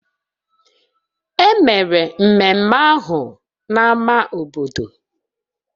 Emere ememme ahụ na ama obodo